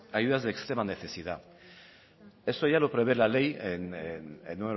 ayudas de extrema necesidad esto ya lo prevé la ley en